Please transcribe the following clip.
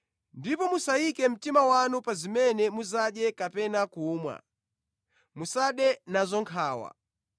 Ndipo musayike mtima wanu pa zimene mudzadye kapena kumwa; musade nazo nkhawa.